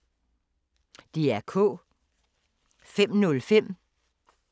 DR K